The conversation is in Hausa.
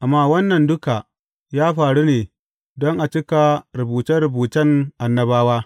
Amma wannan duka ya faru ne don a cika rubuce rubucen annabawa.